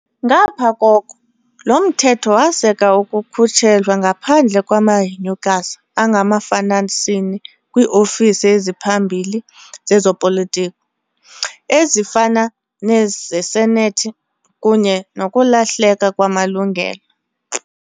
Ngaphaya koko, lo mthetho waseka ukukhutshelwa ngaphandle kwamahenyukazi angamafanasini kwiofisi eziphambili zezopolitiko, ezifana nezesenethi, kunye nokulahleka kwamalungelo.